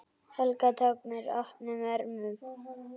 Helga tók mér opnum örmum.